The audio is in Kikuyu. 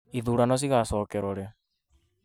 Ithurano cigacokerwo rĩ?